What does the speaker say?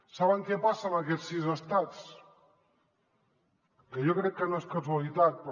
saben què passa en aquests sis estats jo crec que no és casualitat però